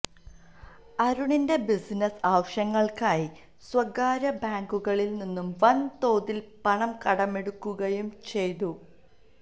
അരുണിന്റെ ബിസിനസ് ആവശ്യങ്ങൾക്കായി സ്വകാര്യ ബാങ്കുകളിൽ നിന്ന് വൻ തോതിൽ പണം കടമെടുക്കുകയും ചെയ്തു